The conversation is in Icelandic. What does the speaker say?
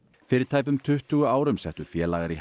fyrir tæpum tuttugu árum settu félagar í